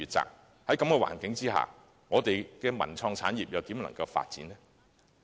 在這種環境下，我們的文創產業如何能發展呢？